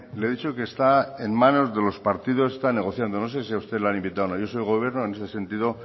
le he dicho que está en manos de los partidos se está negociando no sé si a usted le han invitado o no yo soy el gobierno y ese sentido